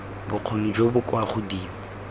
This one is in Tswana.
bokgoni jo bo kwa godimo